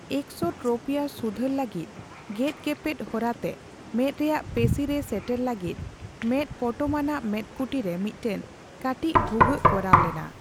Exotropia ᱥᱩᱫᱷᱟᱹᱨ ᱞᱟᱹᱜᱤᱫ ᱜᱮᱫᱜᱮᱯᱮᱫ ᱦᱚᱨᱟᱛᱮ ᱢᱮᱸᱫ ᱨᱮᱭᱟᱜ ᱯᱮᱥᱤ ᱨᱮ ᱥᱮᱴᱮᱨ ᱞᱟᱹᱜᱤᱫ ᱢᱮᱫ ᱯᱚᱴᱚᱢᱟᱱᱟᱜ ᱢᱮᱫᱠᱩᱴᱤ ᱨᱮ ᱢᱤᱫᱴᱮᱱ ᱠᱟᱹᱴᱤᱡ ᱵᱷᱩᱜᱟᱹᱜ ᱠᱚᱨᱟᱣ ᱞᱮᱱᱟ ᱾